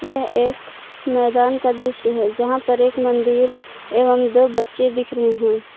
यह एक मैदान का दृश्य है जहां पर एक मंदिर एवं दो बच्चे दिख रहे हैं।